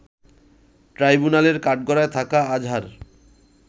ট্রাইব্যুনালের কাঠগড়ায় থাকা আজহার